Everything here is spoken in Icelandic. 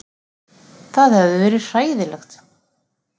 Það hefði verið hræðilegt.